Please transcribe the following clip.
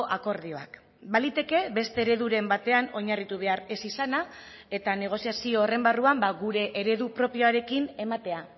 akordioak baliteke beste ereduren batean oinarritu behar ez izana eta negoziazio horren barruan gure eredu propioarekin ematea